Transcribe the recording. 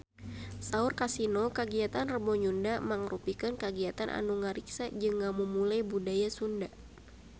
Saur Kasino kagiatan Rebo Nyunda mangrupikeun kagiatan anu ngariksa jeung ngamumule budaya Sunda